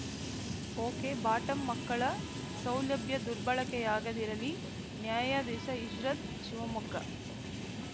okay bottom ಮಕ್ಕಳ ಸೌಲಭ್ಯ ದುರ್ಬಳಕೆಯಾಗದಿರಲಿ ನ್ಯಾಯಾದೀಶಇಶ್ರತ್‌ ಶಿವಮೊಗ್ಗ